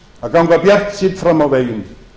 að ganga bjartsýnn fram á veginn